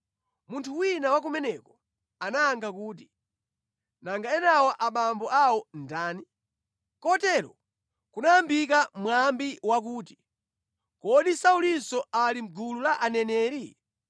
Munthu wina wa kumeneko anayankha kuti, “Nanga enawa abambo awo ndani?” Kotero kunayambika mwambi wakuti, “Kodi Saulinso ali mʼgulu la aneneri?”